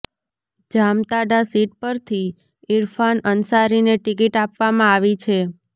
Jamtara seat પરથી ઈરફાન અંસારીને ticket આપવામાં આવી છે